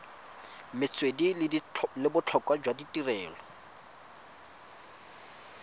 metswedi le botlhokwa jwa tirelo